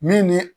Min ni